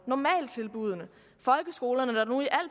normaltilbuddene folkeskolerne der